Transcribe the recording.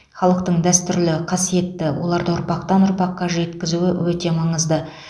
халықтың дәстүрі қасиетті оларды ұрпақтан ұрпаққа жеткізу өте маңызды